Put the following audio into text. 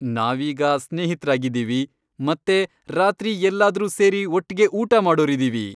ನಾವೀಗ ಸ್ನೇಹಿತ್ರಾಗಿದೀವಿ ಮತ್ತೆ ರಾತ್ರಿ ಎಲ್ಲಾದ್ರೂ ಸೇರಿ ಒಟ್ಗೆ ಊಟ ಮಾಡೋರಿದೀವಿ.